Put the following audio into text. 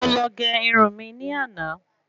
Mo lọ gé irun mi ní àná